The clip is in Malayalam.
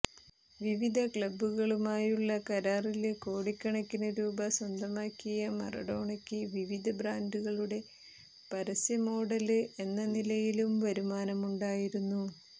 വിവിധ ക്ലബ്ബുകളുമായുള്ള കരാറില് കോടിക്കണക്കിനു രൂപ സ്വന്തമാക്കിയ മറഡോണയ്ക്കു വിവിധ ബ്രാന്ഡുകളുടെ പരസ്യ മോഡല് എന്ന നിലയിലും വരുമാനമുണ്ടായിരുന്നു